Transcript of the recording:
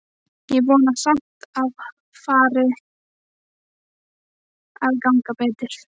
Ég vona samt að fari að ganga betur.